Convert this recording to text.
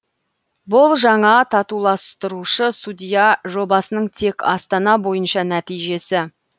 бұл жаңа татуластырушы судья жобасының тек астана бойынша нәтижесі